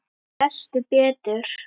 Lestu betur!